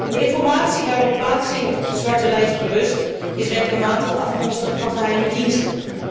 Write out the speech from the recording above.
De informatie waarop plaatsing op de zwarte lijst berust, is regelmatig afkomstig van geheime diensten.